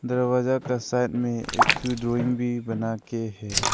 दरवाजा का साइड में एक ठो ड्राइंग भी बना के है।